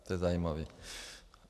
To je zajímavé.